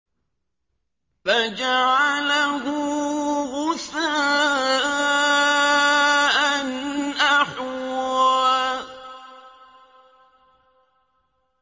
فَجَعَلَهُ غُثَاءً أَحْوَىٰ